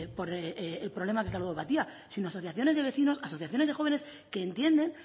por el problema que es la ludopatía si no asociaciones de vecinos asociaciones de jóvenes que entienden